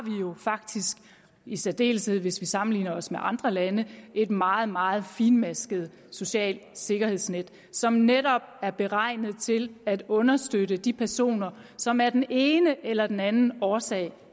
jo faktisk i særdeleshed hvis vi sammenligner os med andre lande et meget meget finmasket socialt sikkerhedsnet som netop er beregnet til at understøtte de personer som af den ene eller den anden årsag